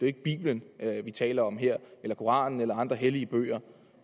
ikke bibelen vi taler om her eller koranen eller andre hellige bøger